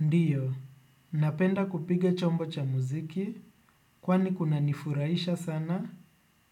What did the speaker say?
Ndiyo, napenda kupiga chombo cha mziki kwani kunanifurahisha sana